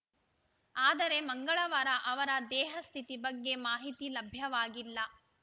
ಆದರೆ ಮಂಗಳವಾರ ಅವರ ದೇಹಸ್ಥಿತಿ ಬಗ್ಗೆ ಮಾಹಿತಿ ಲಭ್ಯವಾಗಿಲ್ಲ